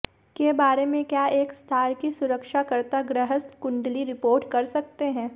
के बारे में क्या एक स्टार की सुरक्षा करता गृहस्थ कुंडली रिपोर्ट कर सकते हैं